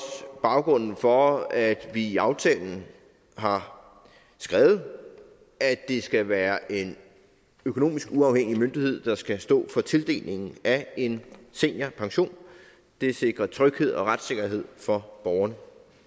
baggrunden for at vi i aftalen har skrevet at det skal være en økonomisk uafhængig myndighed der skal stå for tildelingen af en seniorpension det sikrer tryghed og retssikkerhed for borgeren